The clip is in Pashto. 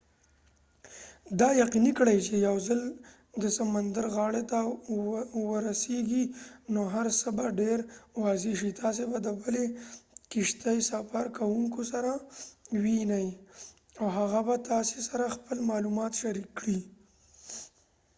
دا یقیني کړئ چې یو ځل د سمندر غاړې ته ورسیږئ نو هر څه به دیر واضح شي تاسې به د د بلې کښتۍ سفرکوونکو سره ووینۍ او هغه به تاسې سره خپل معلومات شریک کړي